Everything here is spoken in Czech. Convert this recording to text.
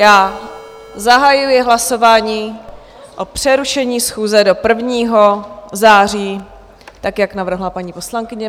Já zahajuji hlasování o přerušení schůze do 1. září, tak jak navrhla paní poslankyně.